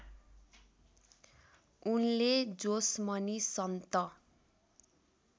उनले जोसमनी सन्त